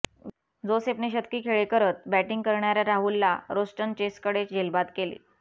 जोसेफने शतकी खेळी करत बॅटिंग करणाऱ्या राहुलला रोस्टन चेसकडे झेलबाद केले